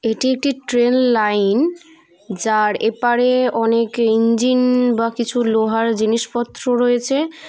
এটি একটি train line যার এপারে অনেক ইঞ্জিন বা কিছু লোহার জিনিসপত্র রয়েছে।